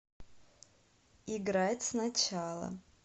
играть сначала